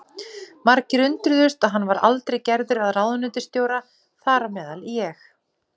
Margir undruðust að hann var aldrei gerður að ráðuneytisstjóra, þar á meðal ég.